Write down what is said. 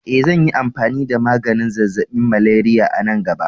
Eh, zanyi amfani da maganin zazzaɓin malaria a nan gaba.